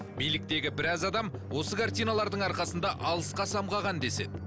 биліктегі біраз адам осы картиналардың арқасында алысқа самғаған деседі